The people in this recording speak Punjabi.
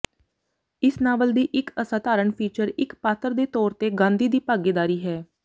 ਇਸ ਨਾਵਲ ਦੀ ਇੱਕ ਅਸਾਧਾਰਨ ਫੀਚਰ ਇੱਕ ਪਾਤਰ ਦੇ ਤੌਰ ਤੇ ਗਾਂਧੀ ਦੀ ਭਾਗੀਦਾਰੀ ਹੈ